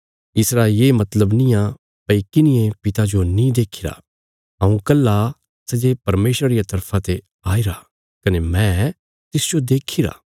इसरा ये मतलब नींआ भई किन्हिये पिता जो नीं देखीरा हऊँ कल्हा सै जे परमेशरा रिया तरफा ते आईरा कने मैं तिसजो देखीरा